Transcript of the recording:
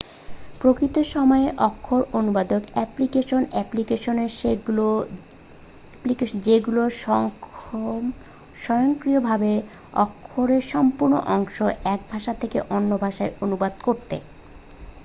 প্রকৃত-সময়ে অক্ষর অনুবাদক application applications যেগুলো সক্ষম স্বয়ংক্রিয়ভাবে অক্ষরের সম্পূর্ণ অংশগুলো 1 ভাষা থেকে অন্য ভাষায় অনুবাদ করতে